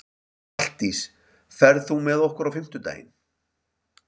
Halldís, ferð þú með okkur á fimmtudaginn?